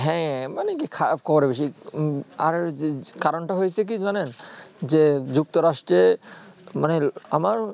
হ্যাঁ মানে কি খারাপ খবর বেশি আর কারণ কি হয়েছে জানেন যে যুক্ত রাষ্ট্রীয় মানে আমার